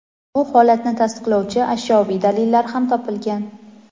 bu holatni tasdiqlovchi ashyoviy dalillar ham topilgan.